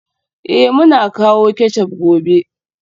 Eh, muna kawo ketchup gobe